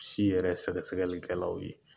Si yɛrɛ sɛgɛsɛgɛlikɛlaw ye